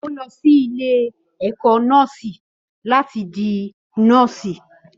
Ó lọ sí ilé-ẹ̀kọ́ nọ́ọ̀sì láti di nọ́ọ̀sì.